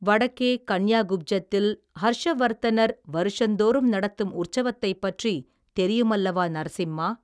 வடக்கே கன்யாகுப்ஜத்தில் ஹர்ஷவர்த்தனர் வருஷந்தோறும் நடத்தும் உற்சவத்தைப் பற்றித் தெரியுமல்லவா நரசிம்மா.